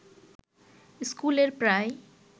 স্কুলের প্রায়